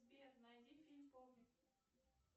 сбер найди фильм помню